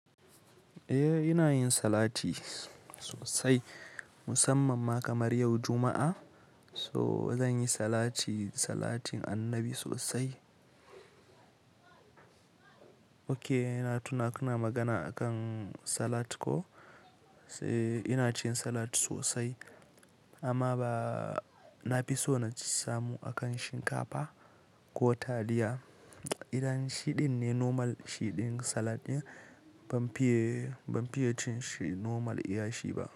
Eh, ina yin salati sosai, musamman ma kamar yau Juma'a. So zan yi salati, salatin Annabi sosai. Oke, na tuna kuna magana akan salat ko? Eh, ina cin salat sosai amma ba, na fi so na samu akan shinkafa ko taliya. Idan shiɗin ne normal shiɗin salad ɗin, ban fiye, ban fiye cin shi normal iya shi ba.